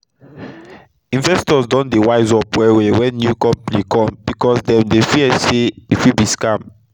investors don dey wise up well well wen new compani cum becos dem dey fear say e fit be scam